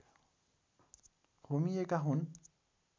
होमिएका हुन्